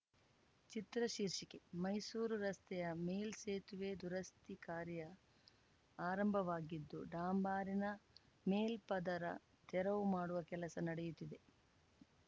ಚಿತ್ರ ಶೀರ್ಷಿಕೆ ಮೈಸೂರು ರಸ್ತೆಯ ಮೇಲ್ಸೇತುವೆ ದುರಸ್ತಿ ಕಾರ‍್ಯ ಆರಂಭವಾಗಿದ್ದು ಡಾಂಬರಿನ ಮೇಲ್ಪದರ ತೆರವು ಮಾಡುವ ಕೆಲಸ ನಡೆಯುತ್ತಿದೆ